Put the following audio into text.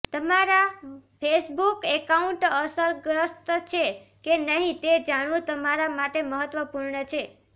તમારા Facebook account અસરગ્રસ્ત છે કે નહીં તે જાણવું તમારા માટે મહત્વપૂર્ણ છે